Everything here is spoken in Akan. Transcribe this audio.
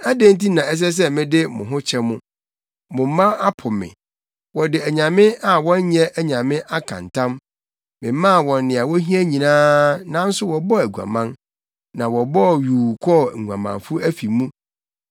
“Adɛn nti na ɛsɛ sɛ mede mo ho kyɛ mo? Mo mma apo me, wɔde anyame a wɔnyɛ anyame aka ntam. Memaa wɔn nea wohia nyinaa, nanso wɔbɔɔ aguaman na wɔbɔɔ yuu kɔɔ nguamanfo afi mu.